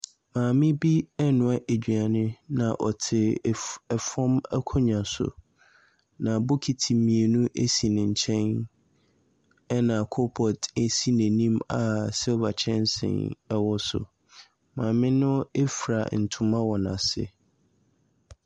Maame bi renoa aduane, na ɔte fam akonnwa so, na bokiti mmienu si ne nkyɛn, ɛnna coalpot si n'anim a silver kyɛnsee wɔ so. Maame no fura ntoma wɔ n'ase.